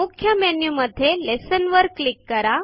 मुख्य मेन्यु मध्ये लेसन वर क्लीक करा